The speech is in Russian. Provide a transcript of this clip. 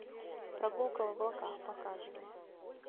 прогулка в облаках показывай